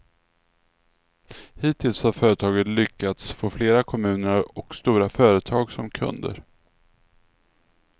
Hittills har företaget lyckats få flera kommuner och stora företag som kunder.